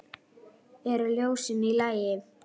Eru ljósin í lagi?